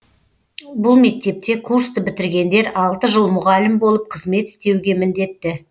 бұл мектепте курсты бітіргендер алты жыл мұғалім болып қызмет істеуге міндетті